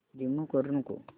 remove करू नको